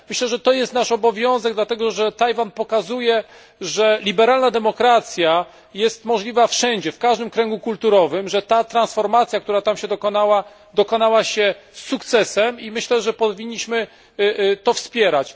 Myślę, że to jest nasz obowiązek, dlatego że Tajwan pokazuje, że liberalna demokracja jest możliwa wszędzie, w każdym kręgu kulturowym, że ta transformacja, która tam się dokonała, dokonała się z sukcesem i myślę, że powinniśmy to wspierać.